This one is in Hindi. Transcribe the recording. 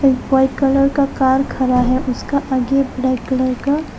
एक व्हाइट कलर का कार खड़ा है उसका आगे ब्लैक कलर का--